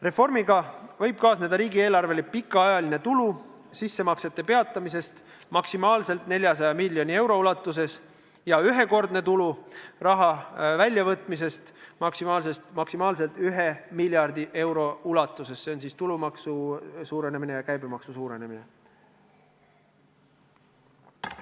Reformiga võib kaasneda riigieelarvele pikaajaline tulu sissemaksete peatamisest maksimaalselt 400 miljoni euro ulatuses ja ühekordne tulu raha väljavõtmisest maksimaalselt 1 miljardi euro ulatuses, see on seotud tulumaksu suurenemise ja käibemaksu suurenemisega.